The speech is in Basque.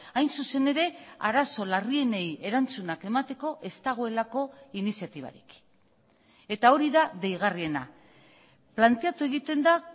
hain zuzen ere arazo larrienei erantzunak emateko ez dagoelako iniziatibarik eta hori da deigarriena planteatu egiten da